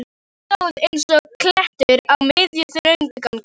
Hann stóð eins og klettur á miðjum, þröngum ganginum.